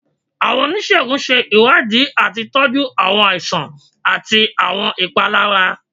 Awọn onisegun ṣe iwadii ati tọju awọn aisan, awọn aisan, ati awọn ipalara.